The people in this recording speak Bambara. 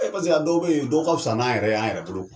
paseke a dɔw bɛ yen dɔw ka fisa n'a yɛrɛ y'an yɛrɛ bolo